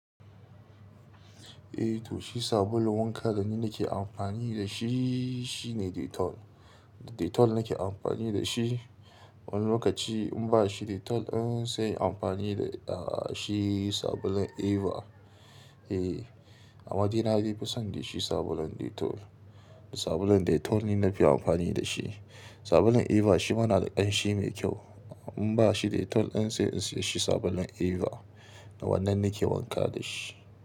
Eh to, shi sabulun wanka da ni nake amfani da shi shi ne Dettol. Dettol nake amfani da shi. Wani lokaci in ba shi Dettol, in sai amfani da, ah, shi sabulun Eva. Eh, amma dai na fi son dai shi sabulun Dettol. Sabulun Dettol ne na fi amfani da shi. Sabulun Eva shi ma na da ƙanshi mai kyau. In ba shi Dettol, in sai in siya shi sabulun Eva. Wannan nake wanka da shi.